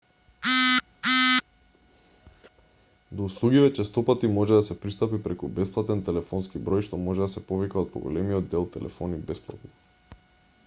до услугиве честопати може да се пристапи преку бесплатен телефонски број што може да се повика од поголемиот дел телефони бесплатно